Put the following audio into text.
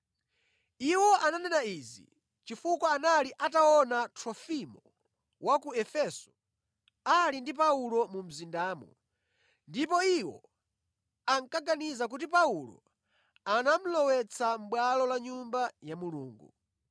Iwo ananena izi chifukwa anali ataona Trofimo wa ku Efeso ali ndi Paulo mu mzindamo ndipo iwo ankaganiza kuti Paulo anamulowetsa mʼbwalo la Nyumba ya Mulungu.